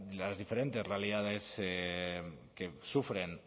las diferentes realidades que sufren